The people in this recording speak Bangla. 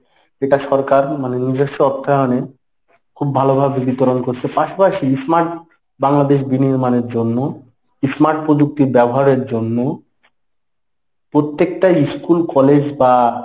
এটা সরকার মানে নিজস্ব অর্থায়নে খুব ভালোভাবে বিতরণ করছে পাশাপাশি smart বাংলাদেশ বিনির্মানের জন্য smart প্রযুক্তি ব্যবহারের জন্য প্রত্যেকটা school college বা